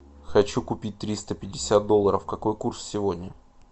хочу купить триста пятьдесят долларов какой курс сегодня